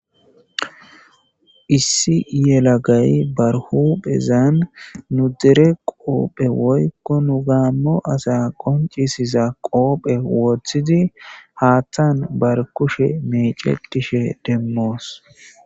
Issi yelagay barhu phezan nu dere qoophe woykko nu gaammo asa qonccisiza qoophe woththidi haattan bar kushe mecetishe demmoos.